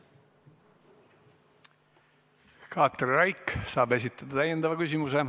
Katri Raik saab esitada täiendava küsimuse.